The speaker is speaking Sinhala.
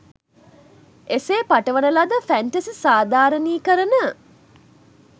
එසේ පටවන ලද ෆැන්ටසි සාධාරණීකරණ